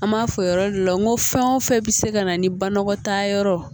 An b'a fɔ o yɔrɔ de la n ko fɛn o fɛn bɛ se ka na ni banakɔtaa yɔrɔ ye